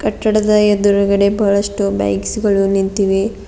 ಕಟ್ಟಡದ ಎದುರುಗಡೆ ಬಹಳಷ್ಟು ಬೈಕ್ಸ್ ಗಳು ನಿಂತಿವೆ.